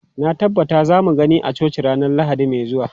Na tabbata za mu gani a coci ranar Lahadi mai zuwa.